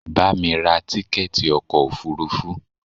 Bamí ra tíkẹ̀ẹ̀ti ọkò òfurufú!